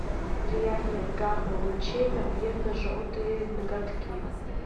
влияние гамма лучей на бледно желтые ноготки